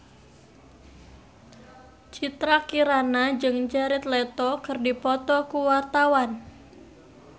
Citra Kirana jeung Jared Leto keur dipoto ku wartawan